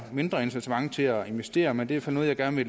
mindre incitament til at investere men det er så noget jeg gerne